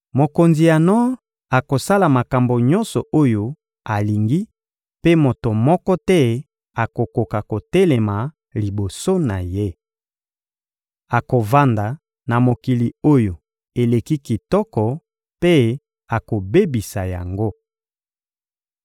Mokonzi ya nor akosala makambo nyonso oyo alingi mpe moto moko te akokoka kotelema liboso na ye. Akovanda na mokili oyo eleki kitoko mpe akobebisa yango.